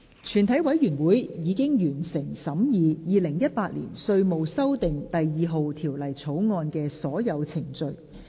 全體委員會已完成審議《2018年稅務條例草案》的所有程序。